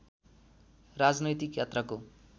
राजनैतिक यात्राको